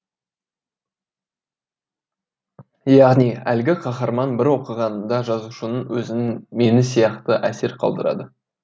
яғни әлгі қаһарман бір оқығаныңда жазушының өзінің мені сияқты әсер қалдырады